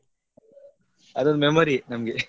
ಅದು memory ಯೇ ನಮ್ಗೆ.